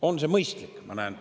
On see mõistlik?